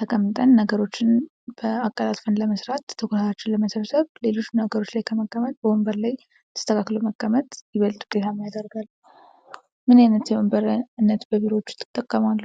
ተቀምጠን ነገሮችን አቀላጥፈን ለመስራት ትኩረታችንን ለመሰብሰብ በብዛት በሌሎች ነገሮች ላይ ከመቀመጥ በወንበር ላይ መቀመጥ ይበልጥ ዉጤታማ ያደርጋል። ምን አይነት የወንበር አይነቶች በቢሮወች ውስጥ ይጠቀማሉ?